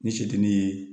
Ni se tɛ ne ye